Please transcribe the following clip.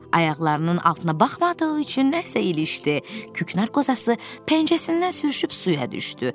Ayaqlarının altına baxmadığı üçün nəsə ilişdi, küknar qozası pəncəsindən sürüşüb suya düşdü.